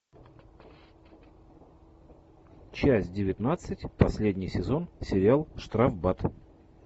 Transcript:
часть девятнадцать последний сезон сериал штрафбат